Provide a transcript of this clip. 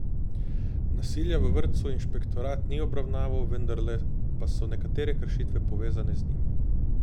Nasilja v vrtcu inšpektorat ni obravnaval, vendarle pa so nekatere kršitve povezane z njim.